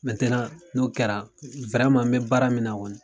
n'o kɛra n mɛ baara min na kɔni